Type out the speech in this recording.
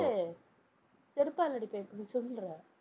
~ல்லு செருப்பால அடிப்பேன். இப்ப நீ சொல்லுற